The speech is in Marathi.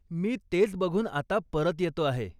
मी तेच बघून आता परत येतो आहे.